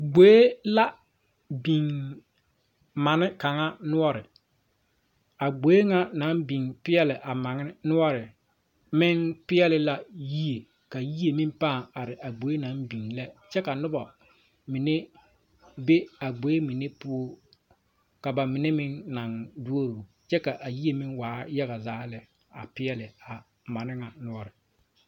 ̈Gboe la biŋ manne kaŋa noɔre a gboe ŋa naŋ biŋ peɛɛli a manne noɔre meŋ peɛɛle la yie ka yie meŋ pãã are a gboe naŋ biŋ lɛ kyɛ ka nobɔ mine be a gboe mine poɔ ka ba mine meŋ naŋ duoro kyɛ ka yie meŋ waa yaga zaa lɛ a peɛɛle a manne ŋa noɔre.